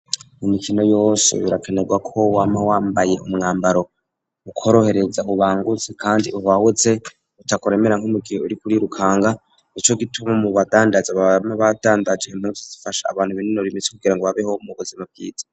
Imikino yose birakenerwako wama wambaye umwambaro ukworohereza ubangutse kandi uhwahutse utakuremera nk'umugihe uriko urirukanga Nico gituma mu badandaza bama badandaje impumvu zifasha abantu binonora imitse kugira ngo babeho mu buzima bwiza.